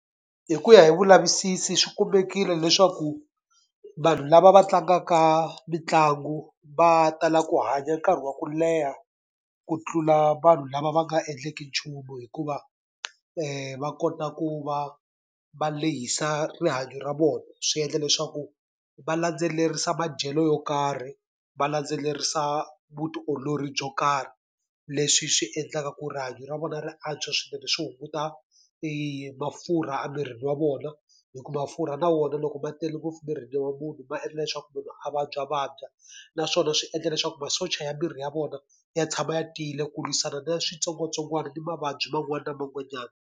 Hi ku ya hi vulavisisi swi kumekile leswaku vanhu lava va tlangaka mitlangu va tala ku hanya nkarhi wa ku leha ku tlula vanhu lava va nga endleki nchumu hikuva, va kota ku va va lehisa rihanyo ra vona. Swi endla leswaku va landzelerisa madyelo yo karhi, va landzelerisa vutiolori byo karhi, leswi swi endlaka ku rihanyo ra vona ri antswa swinene. Swi hunguta mafurha emirini wa vona, hikuva mafurha na wona loko ma tele ngopfu mirini wa munhu ma endla leswaku munhu a vabyavabya. Naswona swi endla leswaku masocha ya miri ya vona ya tshama ya tiyile ku lwisana na switsongwatsongwana na mavabyi man'wani na man'wanyani.